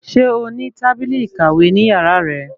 Ṣé o ní tábìlì ìkàwé ní yàrá rẹ?